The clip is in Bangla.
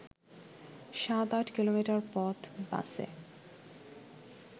সাত-আট কিলোমিটার পথ বাসে